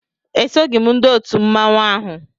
Esoghị m ndị otu mmanwụ ahụ